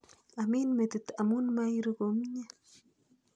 Amin metit amun mairu komnye.